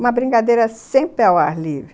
Uma brincadeira sempre ao ar livre.